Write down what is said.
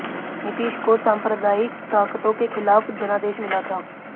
नीतीश को सांप्रदायिक ताकतों के खिलाफ जनादेश मिला था